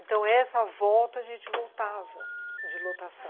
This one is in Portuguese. Então, essa volta a gente voltava de lotação.